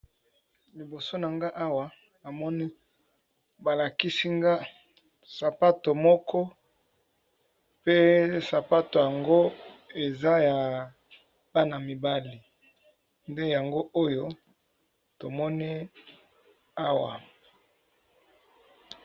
Liboso na nga awa, na moni ba lakisi nga sapato moko. Pe sapato yango, eza ya bana mibali. Nde yango oyo tomoni awa.